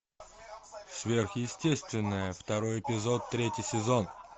сверхъестественное второй эпизод третий сезон